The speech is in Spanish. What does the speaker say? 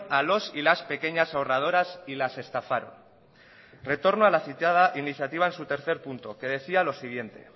a los y las pequeñas ahorradoras y las estafaron retorno a la citada iniciativa en su tercer punto que decía lo siguiente